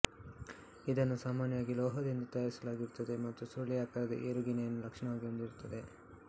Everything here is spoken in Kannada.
ಇದನ್ನು ಸಾಮಾನ್ಯವಾಗಿ ಲೋಹದಿಂದ ತಯಾರಿಸಲಾಗಿರುತ್ತದೆ ಮತ್ತು ಸುರುಳಿಯಾಕಾರದ ಏಣುಗೆರೆಯನ್ನು ಲಕ್ಷಣವಾಗಿ ಹೊಂದಿರುತ್ತದೆ